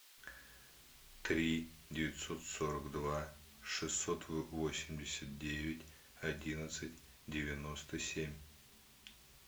три девятьсот сорок два шестьсот восемьдесят девять одиннадцать девяносто семь